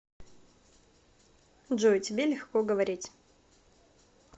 джой тебе легко говорить